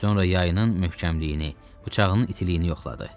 Sonra yayının möhkəmliyini, bıçağının itiliyini yoxladı.